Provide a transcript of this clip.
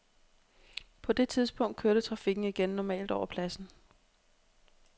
På det tidspunkt kørte trafikken igen normalt over pladsen.